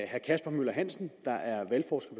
herre kasper møller hansen der er valgforsker